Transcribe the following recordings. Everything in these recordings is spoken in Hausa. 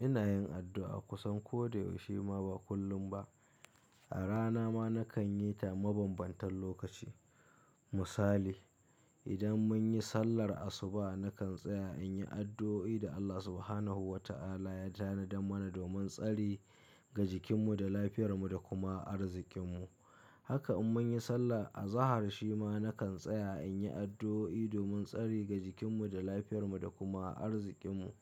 Ina yin addu'a kusan ko da yaushe ma ba kullum ba. A rana ma na kan yi ta mabambantan lokaci. Misali, idan mun yi sallar asuba na kan tsaya in yi addu'o'i da Allah Subhanahu wa ta'ala ya tanada mana domin tsari ga jikinmu da lafiyar mu da kuma arzikin mu. Haka in mun yi sallah a zahar shima na kan tsaya in yi addu'o'i domin tsari ga jikinmu da lafiyar mu da kuma arzikin mu.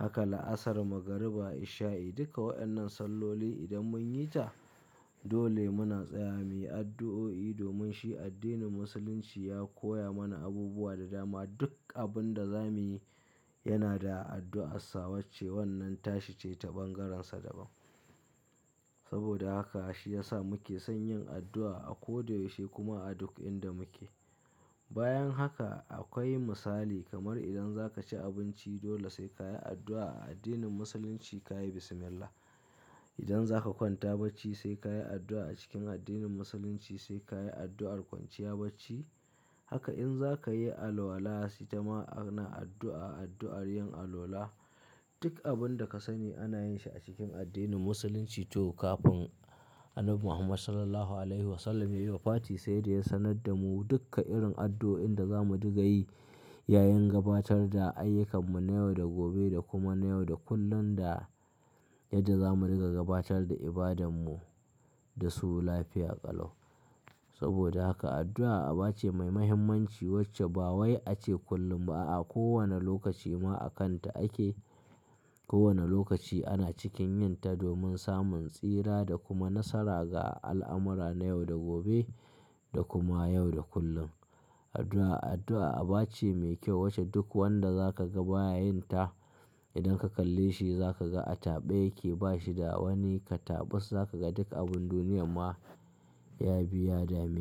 Haka la'asar, magariba, isha'i duka waɗannan salloli idan mun yi ta, dole muna tsaya muyi addu'o'i domin shi addinin Musulunci ya koya mana abubuwa da dama. Duk abun da za muyi yana da addu'a. Sawace wannan tashi ce ta bangarensa daban. Saboda haka shi ya sa muke son yin addu'a a ko da yaushe kuma a duk inda muke. Bayan haka akwai misali kamar idan za ka ci abinci dole sai ka yi addu'a. A addinin Musulunci ka yi bismillah. Idan zaka kwanta bacci sai ka yi addu'a a cikin addinin Musulunci sai ka yi addu'ar kwanciya bacci. Haka in za ka yi alwala sitama ana addu'a addu'ar yin alwala. Duk abun da ka sani ana yin shi a cikin addinin Musulunci toh kafin Annabi Muhammad Sallallahu Alaihi Wasallam ya yi wa fati sai da ya sanar da mu duka irin addu'o'in da za mu dinga yi yayin gabatar da ayyukanmu na yau da gobe da kuma na yau da kullum da yadda za mu riƙa gabatar da ibadanmu da su lafiya ƙalau. Saboda haka addu'a aba ce mai muhimmanci wacce ba wai ace kullum ba a, a kowane lokaci ma a kanta ake. Ko wane lokaci ana cikin yin ta domin samun tsira da kuma nasara ga al'amura na yau da gobe da kuma yau da kullum. Addu'a, addu'a aba ce mai kyau wacce duk wanda za ka ga baya yin ta idan ka kalle shi za ka ga a taɓe yake ba shi da wani katabas za ka ga duk abun duniyam ma ya biya damina.